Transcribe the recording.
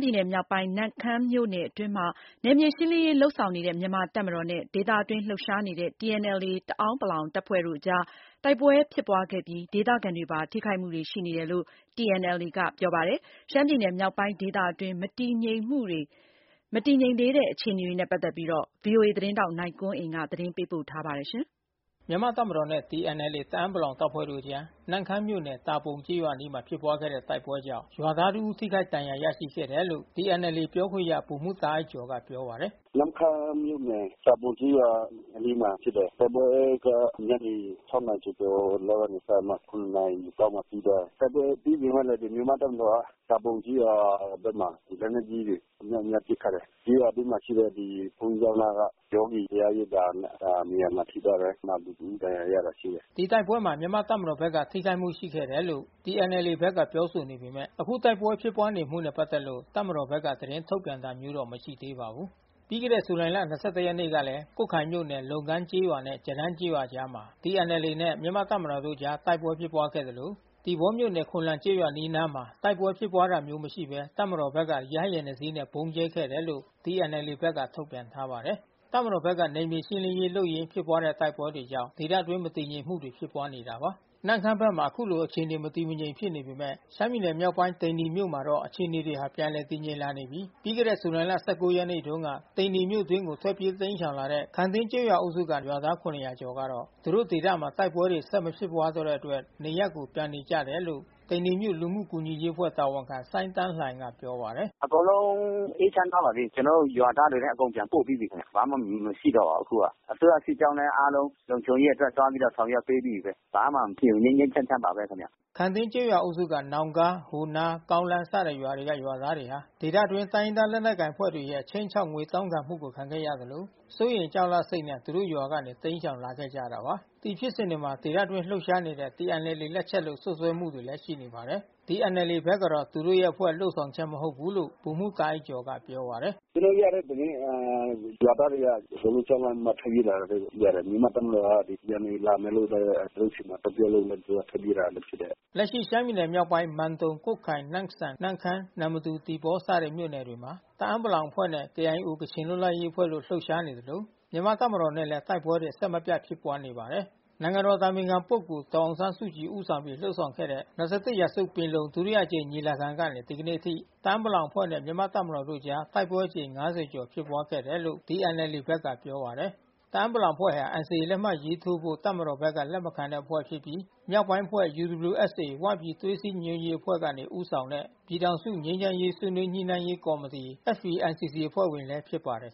ပြည်နယ်မြောက်ပိုင်း နမ့်ခမ်းမြို့နယ် အတွင်းမှာ နယ်မြေရှင်းလင်းရေး လုပ်ဆောင်နေတဲ့ မြန်မာ့တပ်မတော်နဲ့ ဒေသအတွင်း လှုပ်ရှားနေတဲ့ TNLA တအာင်းပလောင် တပ်ဖွဲ့တို့အကြား တိုက်ပွဲဖြစ်ပွါးခဲ့ပြီး ဒေသခံတွေ ပါ ထိခိုက်မှုတွေ ရှိနေတယ်လို့ TNLA ဘက်ကပြောပါတယ်။ ရှမ်းပြည်နယ် မြောက်ပိုင်းဒေသအတွင်း မတည်ငြိမ်သေးတဲ့ အခြေအနေတွေကိုတော့ ဗွီအိုအေ ထိုင်းအခြေစိုက် သတင်းထောက် နိုင်ကွန်းအိန်ကနေ သတင်းပေးပို့ ထားပါတယ်။ မြန်မာ့တပ်မတော်နဲ့ TNLA တအာင်းပလောင် အဖွဲ့တို့အကြား နမ့်ခမ်းမြို့နယ်၊ တာပုံကျေးရွာအနီးမှာ ဖြစ်ပွါးခဲ့တဲ့ တိုက်ပွဲကြောင့် ရွာသားတဦး ထိခိုက်ဒဏ်ရာ ရရှိခဲ့တယ်လို့TNLA ပြော ခွင့်ရ ဗိုလ်မှူးတာအိုက်ကျော်က ပြောပါတယ်။ “ မနေ့က နမ့်ခမ်းမြို့နယ် တာပုံကျေးရွာ အနီးမှာ ဖြစ်တယ်။ တိုက်ပွဲက ညနေ နာရီကျော်ကျော် လောက်ကနေ စပြီးမှ နာရီ လောက်မှ ပြီးသွားတယ်။ တိုက်ပွဲပြီးပေမဲ့ မြန်မာ့တပ်မတော်ဘက်က တာပုံကျေးရွာဘက်မှာ လက်နက်ကြီးတွေ အမြောက်အများ ပစ်ခတ်တယ်။ ကျေးရွာအတွင်းမှာရှိတဲ့ ဘုန်းကြီးကျောင်းနားက ယောဂီတရားရိပ်သာနေရာမှာ ထိသွားတယ်။ နောက်ပြည်သူ တဦး ဒဏ်ရာရတာရှိတယ်။ ” ဒီတိုက်ပွဲမှာ မြန်မာ့တပ်မတော်ဘက်က ထိခိုက်မှုရှိခဲ့တယ်လို့ TNLA ဘက်က ပြောဆိုနေပေမယ့် အခုလို တိုက်ပွဲဖြစ်ပွါး နေမှုနဲ့ ပက်သက်လို့ တပ်မတော်ဘက်က သတင်းထုတ်ပြန်တာမျိုး မရှိသေးပါဘူး။ ပြီးခဲ့တဲ့ ဇူလိုင် ရက်နေ့မှာလည်းကွတ်ခိုင်မြို့နယ်၊ လုံကမ်ကျေးရွာနှင့် ကျရမ်းကျေးရွာအကြားမှာ TNLA နဲ့မြန်မာ့ တပ်မတော်တို့အကြား တိုက်ပွဲဖြစ်ပွါးခဲ့သလို သီပေါမြို့နယ်၊ ခွန်လန်ကျေးရွာ အနီးနားမှာ တိုက်ပွဲဖြစ်ပွါးတာမျိုး မရှိဘဲ တပ်မတော်ဘက်က ရဟတ်ယာဉ်နှစ်စီးနဲ့ဗုံးကျဲခဲ့တယ်လို့TNLA ဘက်က ထုတ်ပြန်ထားပါတယ်။ တပ်မတော်ဘက်က နယ်မြေရှင်းလင်းရေး လုပ်ရင်း ဖြစ်ပွါးတဲ့ တိုက်ပွဲတွေကြောင့် ဒေသအတွင်း မတည်ငြိမ်မှုတွေ ဖြစ်ပွါးနေတာပါ။ နမ့်ခမ်းဘက်မှာ အခုလို အခြေနေမတည်မငြိမ် ဖြစ်နေပေမယ့် ရှမ်းပြည်နယ် မြောက်ပိုင်း သိန္နီမြို့နယ်မှာတော့ အခြေနေတွေဟာ ပြန်လည် တည်ငြိမ်လာနေပြီး ပြီးခဲ့တဲ့ ဇူလိုင်လ ရက်နေ့တုန်းက သိန္နီမြို့အတွင်းကို ထွက်ပြေး တိမ်းရှောင်လာတဲ့ခမ်တင်း ကျေးရွာ အုပ်စုကရွာသား ကျော်ကတော့သူတို့ဒေသမှာ တိုက်ပွဲတွေ ဆက်မဖြစ်ပွါးတဲ့ အတွက် နေရပ်ကို ပြန်နေကြတယ်လို့သိန္နီမြို့ လူမှုကူညီရေးအဖွဲ့ တာဝန်ခံ စိုင်းသန်းလှိုင်က ပြောပါတယ်။ “ အကုန်လုံး အေးချမ်းသွားပါပြီ။ ကျွန်တော်တို့ ရွာသားတွေလည်း အကုန်လုံး ပြန်ပို့ပြီးသွား ပါပြီ။ ဘာမှမရှိတော့ပါဘူး။ အစိုးရ စစ်ကြောင်းလည်း အားလုံး လုံခြုံရေး အတွက်သွားပြီး ဆောင်ရွက်ပေးသွားပြီဘဲ။ ဘာမှမဖြစ်ဘူး ြငိမ်းငြိမ်းချမ်းချမ်းဘဲ ခင်ဗျ။ ” ခမ်တင်း ကျေးရွာအုပ်စုက နောင်ကား၊ ဟိုနား၊ ကောင်းလမ်း စတဲ့ရွာတွေက ရွာသားတွေဟာ ဒေသတွင်း တိုင်းရင်းသား လက်နက်ကိုင် အဖွဲ့တွေရဲ့ ခြိမ်းခြောက် ငွေတောင်းခံမှုကို ခံခဲ့ရသလို စိုးရိမ် ကြောက်လန့်စိတ်ကြောင့် သူတို့ရွာကနေ တိမ်းရှောင် လာခဲ့ကြတာပါ။ ဒီဖြစ်စဉ်တွေမှာ ဒေသအတွင်း လှုပ်ရှားနေတဲ့ TNLA လက်ချက်လို့စွပ်စွဲချက်တွေ ရှိနေပါတယ်။ TNLA ဘက်ကတော့ သူတို့အဖွဲ့လုပ်ဆောင်ချက် မဟုတ်ဘူးလို့ ဗိုလ်မှူးတာအိုက်ကျော်က ပြောပါတယ်။ “ ကျွန်တော်တို့ ကြားရတဲ့သတင်း။ ရွာသားတွေက အကုန်လုံး ကြောက်လန့်ပြီး ထွက်ပြေးတယ်လို့ သိရတယ်။ မြန်မာ့တပ် မတော်က TNLA လာမယ်လို့ သူတို့ဆီမှာ သွားပြောလို့ထွက်ပြေးလာတာ ဖြစ်တယ်။ ” လက်ရှိ ရှမ်းပြည်နယ်မြောက်ပိုင်း မန်တုန်၊ ကွတ်ခိုင်၊ နမ့်ဆန်၊ နမ့်ခမ်း၊ နမ္မတူ၊ သီပေါ စတဲ့ မြို့နယ်တွေမှာ တအာင်းပလောင် အဖွဲ့နဲ့KIO ကချင်လွတ်လပ်ရေးအဖွဲ့တို့ လှုပ်ရှားနေသလို မြန်မာ့တပ်မတော်နဲ့လည်း တိုက်ပွဲတွေ အဆက်မပြတ် ဖြစ်ပွါးနေပါတယ်။ နိုင်ငံတော် အတိုင်ပင်ခံပုဂ္ဂိုလ် ဒေါ်အောင်ဆန်းစုကြည် ဦးဆောင်ပြီး လုပ်ဆောင်နေတဲ့ ၂၁ ရာစု ပင်လုံ ဒုတိယအကြိမ် ညီလာခံ ကာလကနေ ဒီကနေ့အထိ တအာင်းပလောင်အဖွဲ့နဲ့မြန်မာ့တပ်မတော်တို့အကြား တိုက်ပွဲအကြိမ ် ကျော် ဖြစ်ပွါးခဲ့တယ်လို့TNLA ဘက်က ပြောပါတယ်။ တအာင်းပလောင်အဖွဲ့ဟာ NCA လက်မှတ်ရေးထိုးဖို့ တပ်မတော်ဘက်က လက်မခံတဲ့ အဖွဲ့ဖြစ်ပြီး မြောက်ပိုင်းအဖွဲ့UWSA ဝပြည်သွေးစည်းညီညွတ်ရေး အဖွဲ့ကနေ ဦးဆောင်တဲ့ ပြည်ထောင်စု ငြိမ်းချမ်းရေး ဆွေးနွေးညှိနှိုင်းရေးကော်မတီ FPNCC အဖွဲ့ဝင်လည်း ဖြစ်ပါတယ်